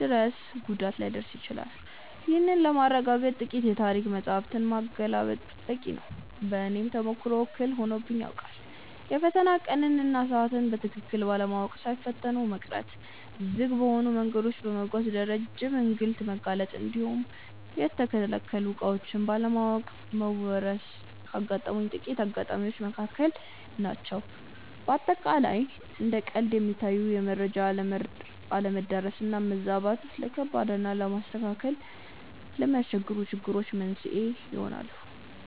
ድረስ ጉዳት ሊያደርስ ይችላል። ይህንን ለማረጋገጥ ጥቂት የታሪክ መጻሕፍትን ማገላበጥ በቂ ነው። በእኔም ተሞክሮ እክል ሆኖብኝ ያውቃል። የፈተና ቀንን እና ሰዓትን በትክክል ባለማወቅ ሳይፈተኑ መቅረት፣ ዝግ በሆኑ መንገዶች በመጓዝ ለረጅም እንግልት መጋለጥ እንዲሁም የተከለከሉ ዕቃዎችን ባለማወቅ መወረስ ካጋጠሙኝ ጥቂት አጋጣሚዎች መካከል ናቸው። በአጠቃላይ እንደ ቀልድ የሚታዩ የመረጃ አለመዳረስ እና መዛባት፣ ለከባድ እና ለማስተካከል ለሚያስቸግሩ ችግሮች መንስኤ ሊሆኑ ይችላሉ።